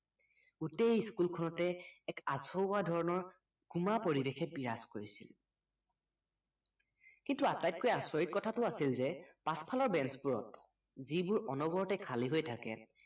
গোটেই school খনতে এক আচহুৱা ধৰণৰ গোমা পৰিৱেশে বিৰাজ কৰিছিল কিন্তু আটাইতকৈ আচৰিত কথাটো আছিল যে পাছফালৰ banch বোৰত যিবোৰ অনবৰতে খালি হৈ থাকে